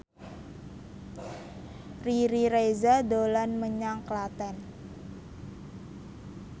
Riri Reza dolan menyang Klaten